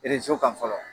kan fɔlɔ